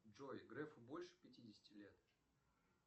джой грефу больше пятидесяти лет